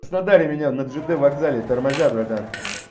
краснодаре меня над жд вокзале тормозят братан